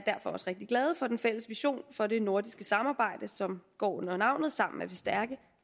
også rigtig glade for den fælles vision for det nordiske samarbejde som går under navnet norden sammen er vi stærkere